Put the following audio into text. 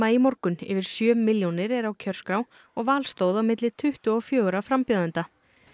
í morgun yfir sjö milljónir eru á kjörskrá og val stóð á milli tuttugu og fjögurra frambjóðenda